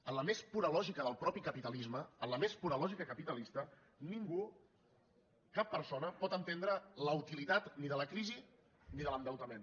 en la més pura lògica del mateix capitalisme en la més pura lògica capitalista ningú cap persona pot entendre la utilitat ni de la crisi ni de l’endeutament